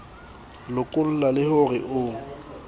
lokolla le ho re ho